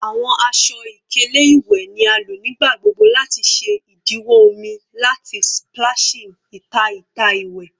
Awọn aṣọ-ikele iwẹ ni a lo nigbagbogbo lati ṣe idiwọ omi lati splashing ita ita iwẹ